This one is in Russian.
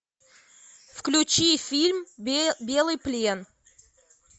включи фильм белый плен